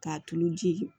K'a tulu ji